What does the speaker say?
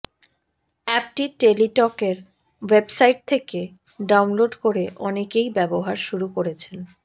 অ্যাপটি টেলিটকের ওয়েবসাইট থেকে ডাউনলোড করে অনেকেই ব্যবহার শুরু করেছেন